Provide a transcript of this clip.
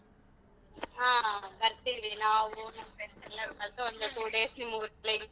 ಹ ಬರ್ತೀವಿ ನಾವು ನಮ್ friends ಎಲ್ಲರೂ ಕಲ್ತು ಒಂದು two days ನಿಮ್ಮೂರಲ್ಲಿ.